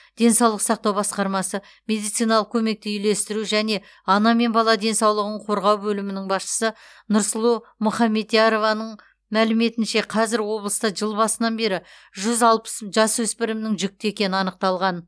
денсаулық сақтау басқармасы медициналық көмекті үйлестіру және ана мен бала денсаулығын қорғау бөлімінің басшысы нұрсұлу мұхамбетярованың мәліметінше қазір облыста жыл басынан бері жүз алпыс жасөспірімнің жүкті екені анықталған